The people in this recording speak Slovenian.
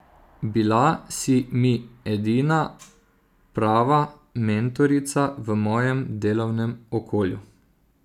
Bila si mi edina prava mentorica v mojem delovnem okolju.